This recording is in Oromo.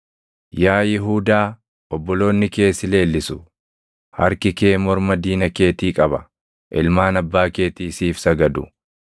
“Yaa Yihuudaa obboloonni kee si leellisu; harki kee morma diina keetii qaba; ilmaan abbaa keetii siif sagadu.